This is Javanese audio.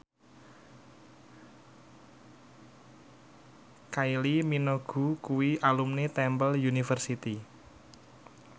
Kylie Minogue kuwi alumni Temple University